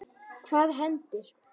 Hvað hendir?